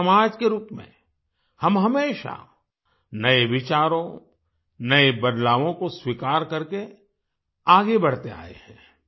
एक समाज के रूप में हम हमेशा नए विचारों नए बदलावों को स्वीकार करके आगे बढ़ते आए हैं